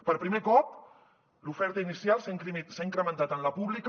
per primer cop l’oferta inicial s’ha incrementat en la pública